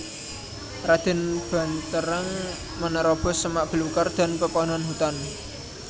Raden Banterang menerobos semak belukar dan pepohonan hutan